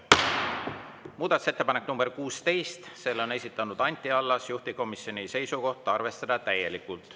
Muudatusettepanek nr 16, selle on esitanud Anti Allas, juhtivkomisjoni seisukoht: arvestada täielikult.